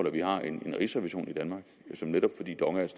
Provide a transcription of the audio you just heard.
at vi har en rigsrevision i danmark som netop fordi dong er et